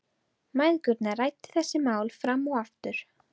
Mæðgurnar ræddu þessi mál fram og aftur.